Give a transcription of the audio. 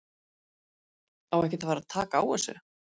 Á ekkert að fara að taka á þessu??